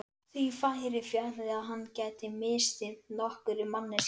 Því færi fjarri að hann gæti misþyrmt nokkurri manneskju.